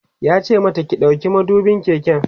yace mata "ki ɗauki madubin keken!"